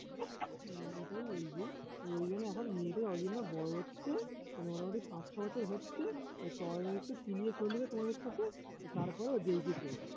হুঁ ওটাই বলছি তো ওই জন্য এখন মেয়েটা যতদিন না বড় হচ্ছে মানে মোটামুটি পাঁচ ছয় বছর হচ্ছে ততদিন একটু তেলিয়ে চলবে তোমাদের সাথে তারপর যেই কি সেই